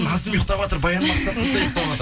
назым ұйықтаватыр баян мақсатқызы да ұйықтаватыр